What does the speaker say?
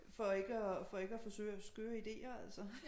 For ikke at for ikke at få skøre skøre ideer altså